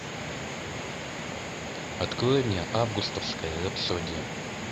открой мне августовская рапсодия